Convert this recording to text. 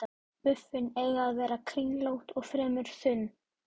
Buffin eiga að vera kringlótt og fremur þunn.